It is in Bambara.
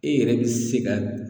E yɛrɛ be se ka